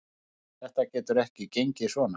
Þetta getur ekki gengið svona.